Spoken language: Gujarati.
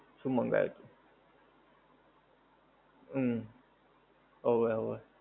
શું મંગાવ્યું તું? ઉમ, હોવે હોવે.